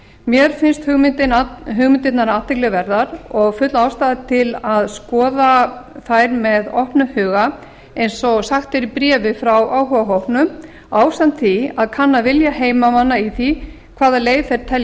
mér finnst hugmyndirnar athygli verðar og full ástæða til að skoða þær með opnum huga eins og sagt er í bréfi frá áhugahópnum ásamt því að kanna vilja heimamanna í því hvaða leið þeir telji